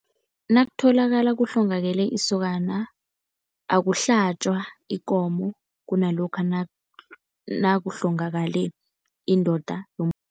Nakutholakala kuhlongakele isokana, akuhlatjwa ikomo kunalokha nakuhlongakale indoda